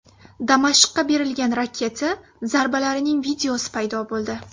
Damashqqa berilgan raketa zarbalarining videosi paydo bo‘ldi.